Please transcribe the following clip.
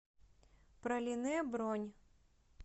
пралине бронь